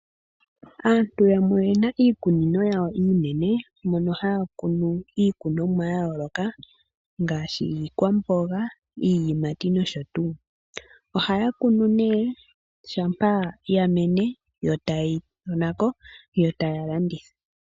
Aantu yamwe oyena iikunino yawo iinene mono haya kunu iikunomwa ya yooloka, ngaashi iikwamboga, iiyimati noshotuu. Ohaya kunu nee, shampa ya mene yo taye yi tona ko yo taya landitha.